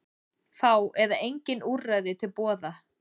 Fá eða engin úrræði til boða